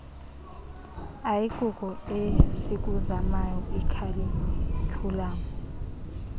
ayikuko esikuzamayo kwikharityhulamu